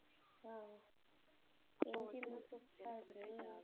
ஆஹ் MGM னா super ஆ இருக்குமே